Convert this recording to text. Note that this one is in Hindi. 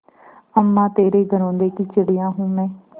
अम्मा तेरे घरौंदे की चिड़िया हूँ मैं